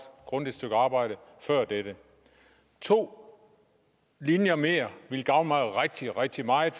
og grundigt stykke arbejde før dette to linjer mere ville gavne mig rigtig rigtig meget